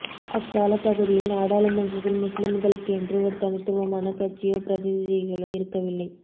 அக்காலப் பகுதியில் நாடாளுமன்றத்தில் முஸ்லிம்களுக்கென்று ஒரு தனித்துவமான கட்சியோ பிரதிநிதிகளோ இருக்கவில்லை